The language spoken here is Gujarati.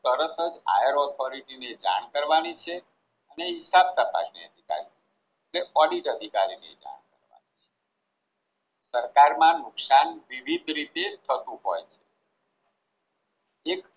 તરત જ આયોરક ફરીચી ને જાણ કરવાની છે ને હિસાબ તપાસનાર અધિકાર ને ઓડિટ અધિકારી નેતા સરકારમાં નુકસાન વિવિધ રીતે થતું હોય